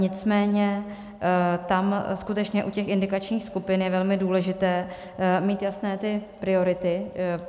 Nicméně tam skutečně u těch indikačních skupin je velmi důležité mít jasné ty priority.